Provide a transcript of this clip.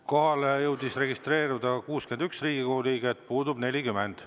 Kohalolijaks jõudis registreeruda 61 Riigikogu liiget, puudub 40.